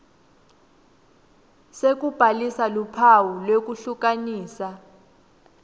sekubhalisa luphawu lwekuhlukanisa